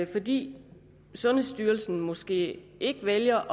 fordi sundhedsstyrelsen måske vælger